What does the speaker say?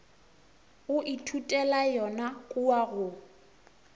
o ithutela yona kua go